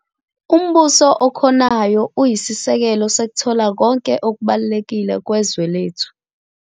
Umbuso okhonayo uyisisekelo sokuthola konke okubalulekile kwezwe lethu.